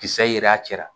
Kisɛ yera a cɛ la